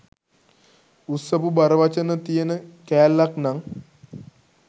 උස්සපු බර වචන තියන කෑල්ලක් නං